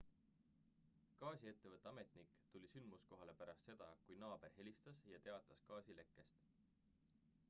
gaasiettevõtte ametnik tuli sündmuskohale pärast seda kui naaber helistas ja teatas gaasilekkest